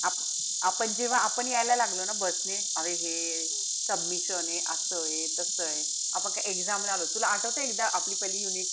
आपण जेव्हा आपण यायला लागलो ना bus ने अरे हे submission ए. असंये तसये. आपण काई exam ला आलो होतो. तुला आठवतंय एकदा आपली पहिली unit,